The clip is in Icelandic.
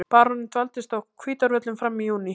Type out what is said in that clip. Baróninn dvaldist á Hvítárvöllum fram í júní.